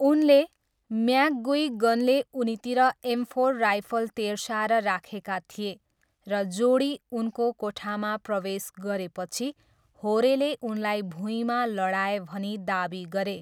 उनले, म्याकगुइगनले उनीतिर एमफोर राइफल तेर्स्याएर राखेका थिए र जोडी उनको कोठामा प्रवेश गरेपछि होरेले उनलाई भुइँमा लडाए भनी दावी गरे।